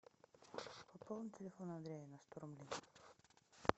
пополни телефон андрея на сто рублей